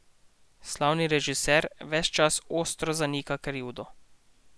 Slavni režiser ves čas ostro zanika krivdo.